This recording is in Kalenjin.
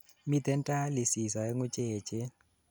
miten dialysis oengu cheechen